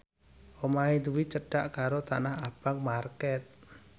omahe Dwi cedhak karo Tanah Abang market